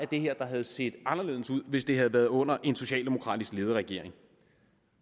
det her der havde set anderledes ud hvis det havde været under en socialdemokratisk ledet regering